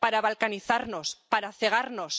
Para balcanizarnos, para cegarnos.